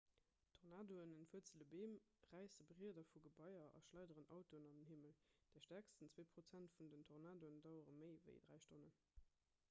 tornadoen entwuerzele beem räisse brieder vu gebaier a schleideren autoen an den himmel déi stäerkst zwee prozent vun den tornadoen dauere méi ewéi dräi stonnen